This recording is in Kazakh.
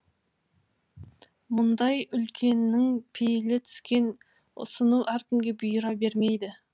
мұндай үлкеннің пейілі түскен ұсыну әркімге бұйыра бермейді